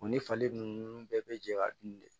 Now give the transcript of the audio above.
U ni fali ninnu bɛɛ bɛ jɛ ka dun de